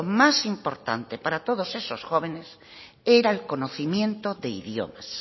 más importante para todos esos jóvenes era el conocimiento de idiomas